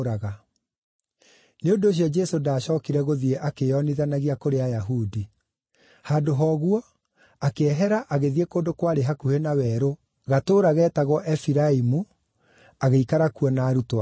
Nĩ ũndũ ũcio Jesũ ndaacookire gũthiĩ akĩĩonithanagia kũrĩ Ayahudi. Handũ ha ũguo, akĩehera agĩthiĩ kũndũ kwarĩ hakuhĩ na werũ, gatũũra geetagwo Efiraimu, agĩikara kuo na arutwo ake.